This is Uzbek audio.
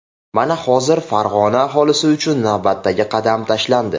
Mana, hozir Farg‘ona aholisi uchun navbatdagi qadam tashlandi.